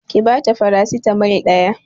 Ki bata farasitamol ɗaya